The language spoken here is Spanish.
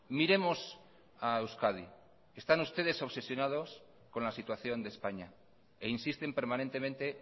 miremos a euskadi están ustedes obsesionados con la situación de españa e insisten permanentemente